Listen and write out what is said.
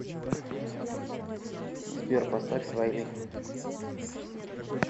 сбер поставь свай ли